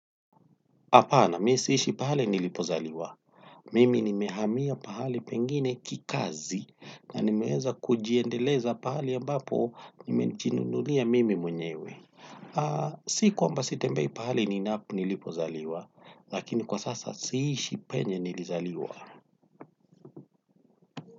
Hapana, mi siishi pahali nilipozaliwa. Mimi nimehamia pahali pengine kikazi na nimeweza kujiendeleza pahali ambapo nimejinunulia mimi mwenyewe. Si kwamba sitembei pahali nilipozaliwa, lakini kwa sasa siishi penye nilizaliwa.